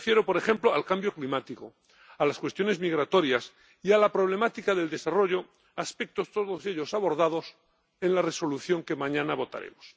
Me refiero, por ejemplo, al cambio climático, a las cuestiones migratorias y a la problemática del desarrollo, aspectos todos ellos abordados en la Resolución que mañana votaremos.